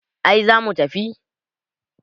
ai za mu tafi